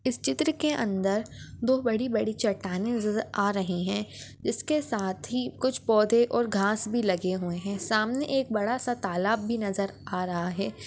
इस चित्र के अंदर दो बड़ी बड़ी चट्टाने नजर आ रहे है इस के साथ ही कुछ पौधे और घास भी लगे हुए है सामने एक बड़ा सा तालाब भी नजर आ रहा है।